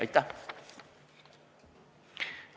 Aitäh!